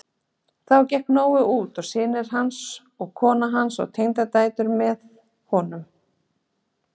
Þá gekk Nói út og synir hans og kona hans og tengdadætur hans með honum.